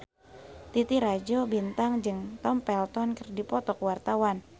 Titi Rajo Bintang jeung Tom Felton keur dipoto ku wartawan